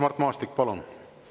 Mart Maastik, palun!